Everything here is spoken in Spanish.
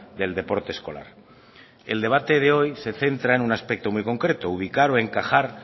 del deporte escolar el debate de hoy se centra en un aspecto muy concreto ubicar o encajar